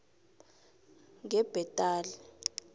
ngebhetali